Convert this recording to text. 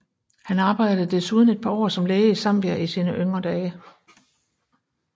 Han arbejdede desuden et par år som læge i Zambia i sine yngre dage